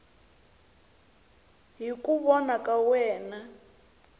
hi ku vona ka wena